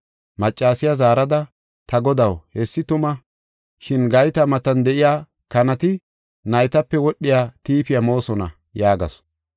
Maccasiya zaarada, “Ta Godaw hessi tuma, shin gayta matan de7iya kanati naytape wodhiya tiifiya moosona” yaagasu.